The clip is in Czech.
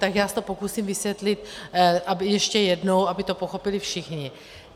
Tak já se to pokusím vysvětlit ještě jednou, aby to pochopili všichni.